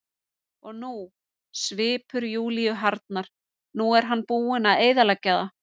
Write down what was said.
Og nú, svipur Júlíu harðnar, nú var hann búinn að eyðileggja það.